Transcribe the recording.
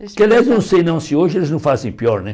Que, aliás, não sei não se hoje eles não fazem pior, né?